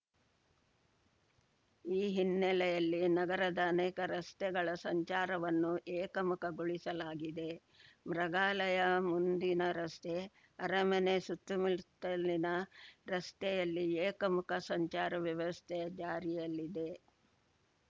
ಈ ಹಿನ್ನೆಲೆಯಲ್ಲಿ ನಗರದ ಅನೇಕ ರಸ್ತೆಗಳ ಸಂಚಾರವನ್ನು ಏಕಮುಖಗೊಳಿಸಲಾಗಿದೆ ಮೃಗಾಲಯ ಮುಂದಿನ ರಸ್ತೆ ಅರಮನೆ ಸುತ್ತಮುತ್ತಲಿನ ರಸ್ತೆಯಲ್ಲಿ ಏಕಮುಖ ಸಂಚಾರ ವ್ಯವಸ್ಥೆ ಜಾರಿಯಲ್ಲಿದೆ